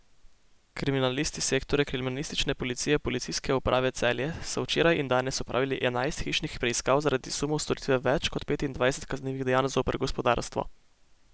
Kriminalisti Sektorja kriminalistične policije Policijske uprave Celje so včeraj in danes opravili enajst hišnih preiskav zaradi sumov storitve več kot petindvajsetih kaznivih dejanj zoper gospodarstvo.